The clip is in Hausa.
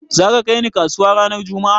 Za ka kai ni kasuwa ranar juma'a?